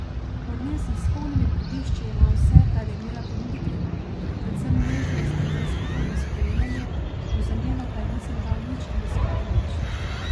Od nje sem s polnimi prgišči jemal vse, kar je imela ponuditi, predvsem nežnost in brezpogojno sprejemanje, v zameno pa ji nisem dal nič ali skoraj nič.